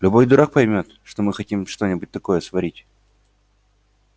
любой дурак поймёт что мы хотим что-нибудь такое сварить